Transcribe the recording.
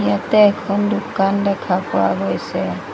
ইয়াতে এখন দোকান দেখা পোৱা গৈছে।